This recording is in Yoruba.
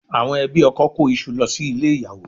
Àwọn ẹbí ọkọ kó iṣu lọ sí ilé ìyàwó